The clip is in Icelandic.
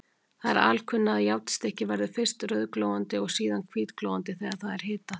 Það er alkunna, að járnstykki verður fyrst rauðglóandi og síðan hvítglóandi þegar það er hitað.